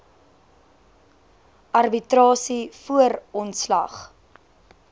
arbitrasie voor ontslag